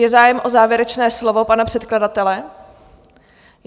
Je zájem o závěrečné slovo pana předkladatele?